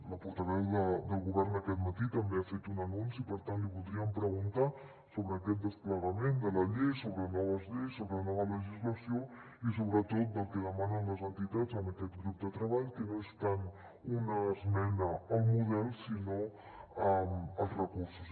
la portaveu del govern aquest matí també ha fet un anunci i per tant li voldríem preguntar sobre aquest desplegament de la llei sobre noves lleis sobre nova legislació i sobretot pel que demanen les entitats en aquest grup de treball que no és tant una esmena al model com els recursos